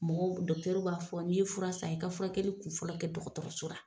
Mɔgɔ dɔkitɛriw b'a fɔ n'i ye furan san , i ka furakɛli kun fɔlɔ kɛ dɔgɔtɔrɔso la.